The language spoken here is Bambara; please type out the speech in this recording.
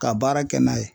Ka baara kɛ n'a ye